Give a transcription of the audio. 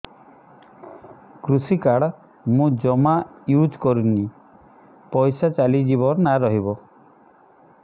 କୃଷି କାର୍ଡ ମୁଁ ଜମା ୟୁଜ଼ କରିନି ପଇସା ଚାଲିଯିବ ନା ରହିବ